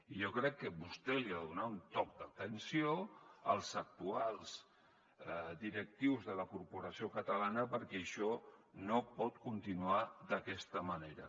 i jo crec que vostè els ha de donar un toc d’atenció als actuals directius de la corporació catalana perquè això no pot continuar d’aquesta manera